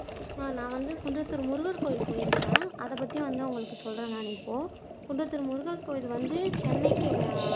நான் வந்து குன்றத்தூர் முருகர் கோவில் போயிருக்கேன் அதைப்பத்தி வந்து நான் சொல்றேன் நான் இப்போ குன்றத்தூர் முருகர் கோவில் வந்து சென்னைக்கு